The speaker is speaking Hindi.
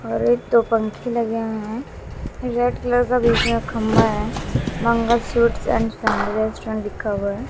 और एक दो पंखे लगे हुए हैं रेड कलर का पीछे खंभा है Mangal suites and family restaurant लिखा हुआ है।